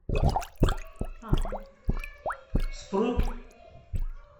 спрут